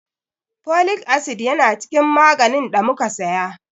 Folic acid yana cikin maganin ɗa muka saya.